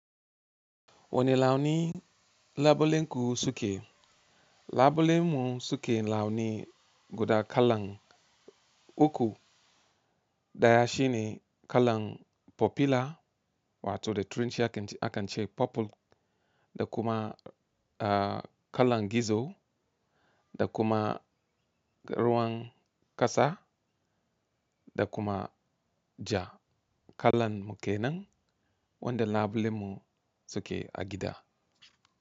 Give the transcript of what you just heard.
Wani launi labulenku suke? Labule mun suke launi guda kallan uku. Daya shine kallan popular wato da turanci akan ce purple, da kuma eh kallan gizo, da kuma ruwan kasa, da kuma ja kallan mukenan wanda labule mun suke agida.